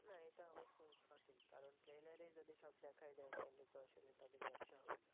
হ্যাঁ এটা অবশ্য সঠিক, কারণ Trailer এই যদি সব দেখায় দেয় তাহলে তো আসলে তাদের ব্যবসা হবে না।